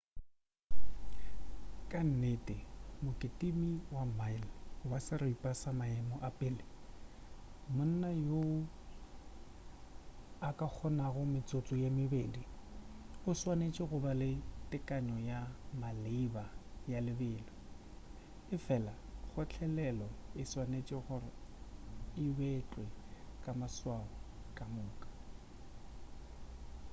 ka nnete mokitimi wa mile wa seripa wa maemo a pele monna yoo a ka kgonago metsotso ye mebedi o swanetše go ba le tekano ya maleba ya lebelo efela kgotlelelo e swanetše gore e betlwe ka maswao ka moka